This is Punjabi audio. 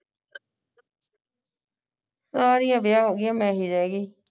ਸਾਰੀਆਂ ਵਿਆਹ ਹੋ ਗਿਆ ਮੈਂ ਹੀ ਰਹਿ ਗਈ